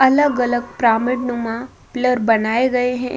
अलग-अलग प्रमिड नुमा पिलर बनाए गए हैं।